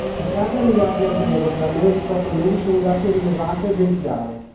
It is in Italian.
Sessanta miliardi al mese per almeno diciotto mesi sono un dato rilevate e ben chiaro.